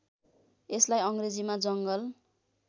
यसलाई अङ्ग्रेजीमा जङ्गल